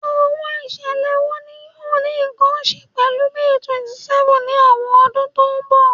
Awọn iṣẹlẹ wo ni yoo ni nkan ṣe pẹlu May 27th ni awọn ọdun to nbọ?